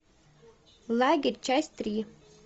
лагерь часть три